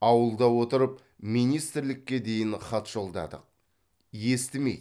ауылда отырып министрлікке дейін хат жолдадық естімейді